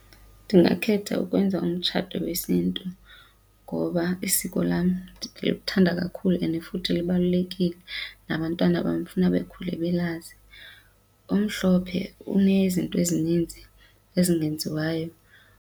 Ndingakhetha ukwenza umtshato wesiNtu ngoba isiko lam ndiluthanda kakhulu and futhi lubalulekile. Nabantwana bam ndifuna bakhule belazi. Omhlophe unezinto ezininzi ezingenziwayo.